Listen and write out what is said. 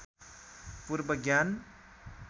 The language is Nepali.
पूर्व ज्ञान